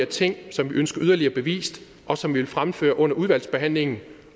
ting som vi ønsker yderligere belyst og som vi vil fremføre under udvalgsbehandlingen